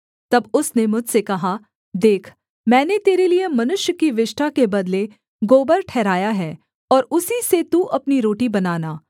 तब उसने मुझसे कहा देख मैंने तेरे लिये मनुष्य की विष्ठा के बदले गोबर ठहराया है और उसी से तू अपनी रोटी बनाना